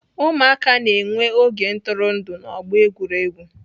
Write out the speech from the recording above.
Ụmụaka na-enwe oge ntụrụndụ n'ọgbọ egwuregwu.